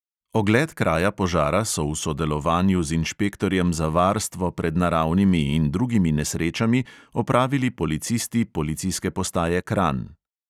Ogled kraja požara so v sodelovanju z inšpektorjem za varstvo pred naravnimi in drugimi nesrečami opravili policisti policijske postaje kranj.